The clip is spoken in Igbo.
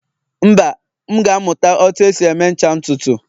mba, m ga-amụta otú e si eme ncha ntutu